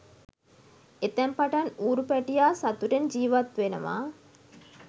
එතැන් පටන් ඌරු පැටියා සතුටෙන් ජීවත් වෙනවා